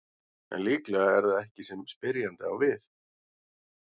En líklega er það ekki þetta sem spyrjandi á við.